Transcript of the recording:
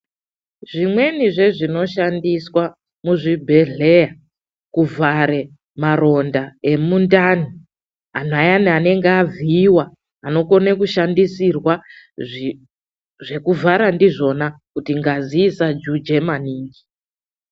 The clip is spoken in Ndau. Zvimweni zvezvinoshandiswa muzvibhedhlera kuvhare maronda emundani antu anenge avhuyiwa, unokona kushandisirwa zvekuvhara ndizvona kuti ngazi isajuja maningi.